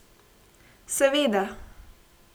Seveda.